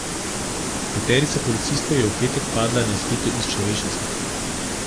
Peterica policistov je v petek padla na izpitu iz človečnosti.